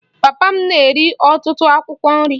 Papa m na-eri ọtụtụ akwụkwọ nri